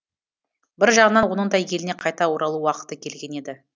бір жағынан оның да еліне қайта оралу уақыты келген еді